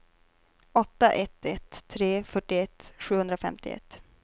åtta ett ett tre fyrtioett sjuhundrafemtioett